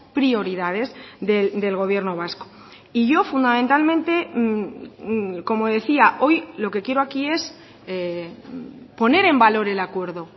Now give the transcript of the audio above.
prioridades del gobierno vasco y yo fundamentalmente como decía hoy lo que quiero aquí es poner en valor el acuerdo